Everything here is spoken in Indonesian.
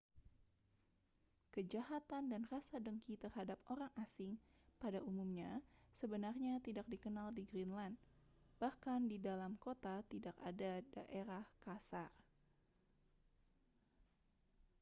kejahatan dan rasa dengki terhadap orang asing pada umumnya sebenarnya tidak dikenal di greenland bahkan di dalam kota tidak ada daerah kasar